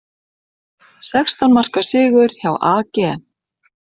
Sextán marka sigur hjá AG